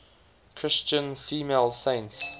christian female saints